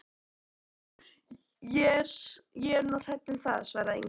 Ég er nú hrædd um það, svaraði Inga.